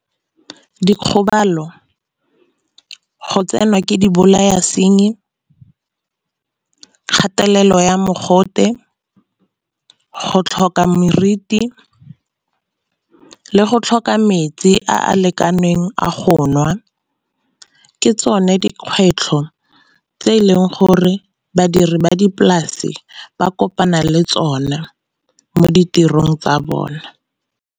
Dikgobalo go tsenwa ke di bolaya senyi, kgatelelo ya mogote, go tlhoka meriti, le go tlhoka metsi a a lekaneng a go nwa. Ke tsone dikgwetlho tse e leng gore badiri ba dipolase ba kopana le tsona mo ditirong tsa bona.